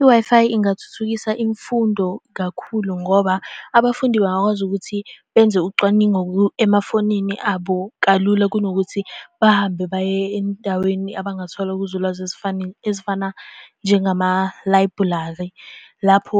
I-Wi-Fi ingathuthukisa imfundo kakhulu ngoba abafundi bangakwazi ukuthi benze ucwaningo emafonini abo kalula, kunokuthi bahambe baye endaweni abangathola kuzo ulwazi ezifana njengamalayibhurali. Lapho